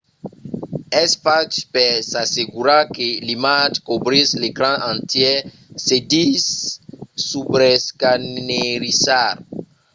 es fach per s’assegurar que l’imatge cobrís l'ecran entièr. se ditz subrescanerizar